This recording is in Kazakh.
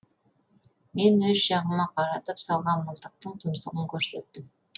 мен өз жағыма қаратып салған мылтықтың тұмсығын көрсеттім